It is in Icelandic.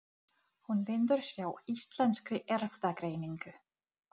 Viltu sýrðan rjóma með tertunni?